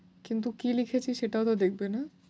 কিন্তু কী লিখেছি সেটাও তো দেখবে না?